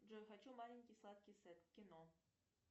джой хочу маленький сладкий сет кино